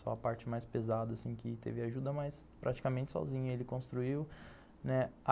Só a parte mais pesada, assim, que teve ajuda, mas praticamente sozinho ele construiu, né?